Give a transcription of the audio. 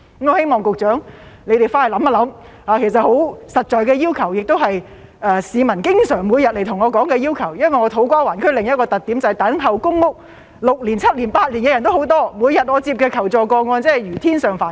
我希望局長回去想一想，其實這些只是十分實在的要求，也是市民每天前來跟我說的要求，因為我服務的土瓜灣區的另一個特點，就是等候公屋6年、7年、8年的人也有很多，我每天接獲的求助個案如天上繁星。